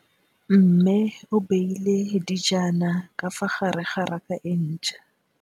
Mmê o beile dijana ka fa gare ga raka e ntšha.